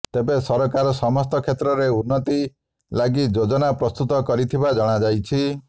ତେବେ ସରକାର ସମସ୍ତ କ୍ଷେତ୍ରରେ ଉନ୍ନତି ଲାଗି ଯୋଜନା ପ୍ରସ୍ତୁତ କରିଥିବା ଜଣାଯାଇଛି